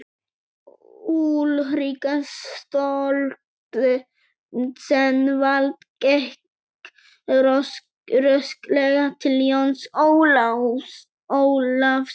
Úlrika Stoltzenwald gekk rösklega til Jóns Ólafs.